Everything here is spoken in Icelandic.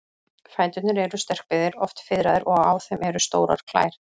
Fæturnir eru sterkbyggðir, oft fiðraðir, og á þeim eru stórar klær.